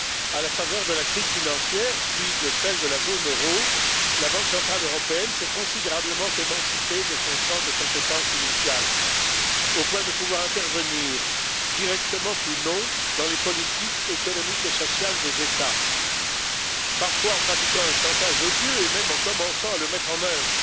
À la faveur de la crise financière, puis de celle de la zone euro, la Banque centrale européenne s'est considérablement émancipée de son champ de compétences initial, au point de pouvoir intervenir, directement ou non, dans les politiques économiques et sociales des États, parfois en pratiquant un chantage odieux et même en commençant à le mettre en œuvre